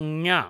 ङ